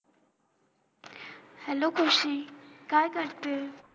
hello ख़ुशी काय करते